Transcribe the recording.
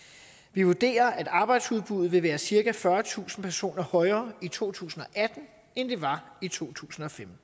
vi vurderer at arbejdsudbuddet vil være cirka fyrretusind personer højere i to tusind og atten end det var i to tusind og femten